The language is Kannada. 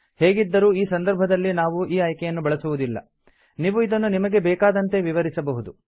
ಹೇಗಿದ್ದರೂ ಈ ಸಂದರ್ಭದಲ್ಲಿ ನಾವು ಈ ಆಯ್ಕೆಯನ್ನು ಬಳಸುವುದಿಲ್ಲ ನೀವು ಇದನ್ನು ನಿಮಗೆ ಬೇಕಾದಂತೆ ವಿವರಿಸಬಹುದು